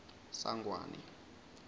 sangwane